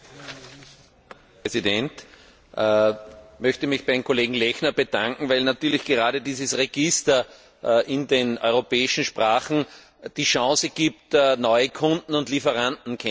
Herr Präsident! Ich möchte mich beim Kollegen Lechner bedanken, weil natürlich gerade dieses Register in den europäischen Sprachen die Chance eröffnet, neue Kunden und Lieferanten kennenzulernen.